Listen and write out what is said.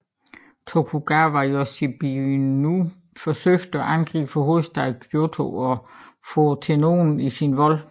Tokugawa Yoshinobu forsøgte at angribe hovedstaden Kyōto og få Tennōen i sin vold